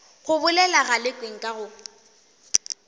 go bolela galekwe nka go